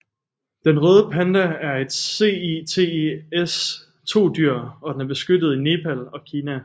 Den røde panda er et CITES II dyr og den er beskyttet i Nepal og Kina